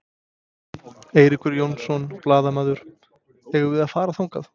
Eiríkur Jónsson, blaðamaður: Eigum við að fara þangað?